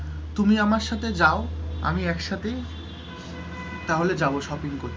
তুমি আমার সাথে যাও, আমি একসাথে তাহলে যাবো shopping করতে,